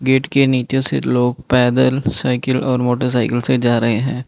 Gate के नीचे से लोग पैदल साइकिल और मोटर साइकिल से जा रहे हैं।